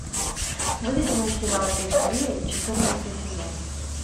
выведи мне сериал эйфория четырнадцатый сезон